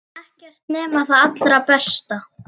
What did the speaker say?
Ekkert nema það allra besta.